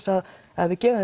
að gefa